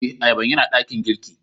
Eh, ayaban ya na dakin girki.